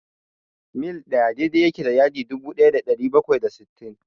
mil ɗaya daidai yake da yadi dubu ɗaya da ɗari bakwai da sittin.